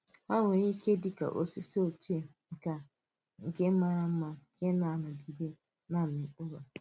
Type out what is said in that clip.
Hà nwere ike dị ka osisi ochie nke nke màrà mma nke na-anọgide na-amì mkpụrụ.